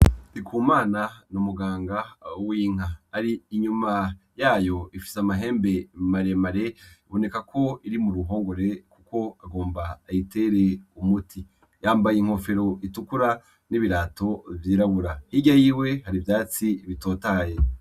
Ndikumana n'umuganga w'inka ari inyuma yayo ifise amahembe maremare iboneka ko iri mu ruhongore, kuko agomba ayitere umuti yambaye inkofero itukura n'ibirato vyirabura hirya yiwe hari vyatsi bitotahaye.